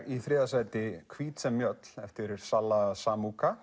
í þriðja sæti hvít sem mjöll eftir salla